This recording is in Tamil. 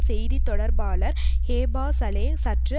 செய்தி தொடர்பாளர் ஹேபா சலே சற்று